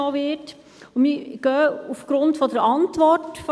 Sehr viele haben schon dazu gesprochen.